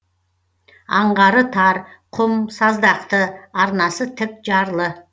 аңғары тар құм саздақты арнасы тік жарлы